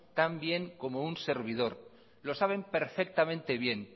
tan bien como un servidor